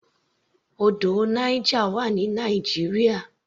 Odò Niger wà ní Nigeria.